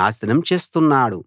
నాశనం చేస్తున్నాడు